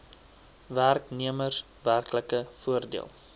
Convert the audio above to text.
werknemers werklike voordeel